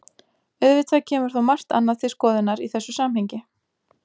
Auðvitað kemur þó margt annað til skoðunar í þessu samhengi.